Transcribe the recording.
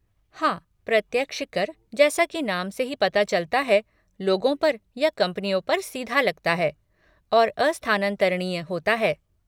हाँ, प्रत्यक्ष कर, जैसा की नाम से ही पता चलता है, लोगों पर या कंपनियों पर सीधा लगता है और अस्थानान्तरणीय होता है।